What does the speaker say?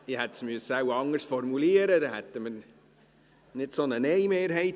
Ich hätte es wohl anders formulieren müssen, dann hätten wir nicht so eine Nein-Mehrheit.